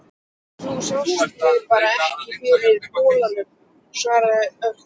Þú sást mig bara ekki fyrir bolanum, svaraði Örn.